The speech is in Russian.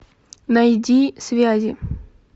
найди связи